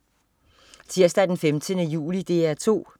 Tirsdag den 15. juli - DR 2: